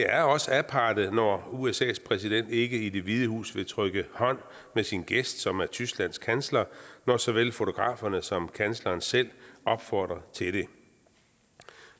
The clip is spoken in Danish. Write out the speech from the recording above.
er også aparte når usas præsident ikke i det hvide hus vil trykke hånd med sin gæst som er tysklands kansler når såvel fotograferne som kansleren selv opfordrer til det